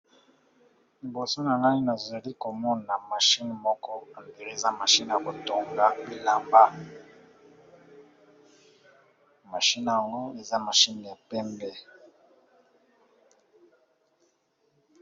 Liboso nanga nazali komona machine moko omdire eza machine ya kotonga bilamba mashine yango eza mashine ya pembe.